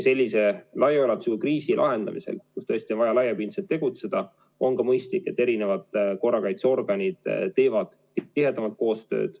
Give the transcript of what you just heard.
Sellise laiaulatusliku kriisi lahendamisel, kus tõesti on vaja laiapindselt tegutseda, on mõistlik, et eri korrakaitseorganid teevad tihedamalt koostööd.